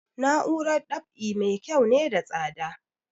Na'urar dab'i mai kyau na da tsada